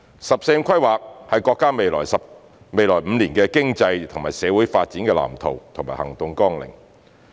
"十四五"規劃是國家未來5年經濟和社會發展的藍圖和行動綱領。